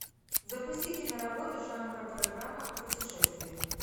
запусти киноработу жанра программа о путешествиях